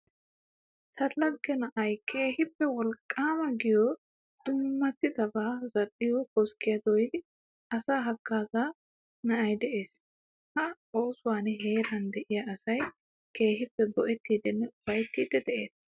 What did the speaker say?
Ta lagge na'ayi keehippe woliqqaama giyo dummabata zal'iyo koskkiyaa dooyidi asaa hagaazziya na'ayi de'ees. Ha oosuwan heeran de'iya asayi keehippe go'ettiiddinne ufayttiiddi de'ees.